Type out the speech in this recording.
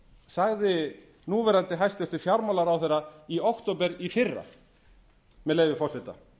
sagði núv hæstvirtur fjármálaráðherra í október í fyrra með leyfi forseta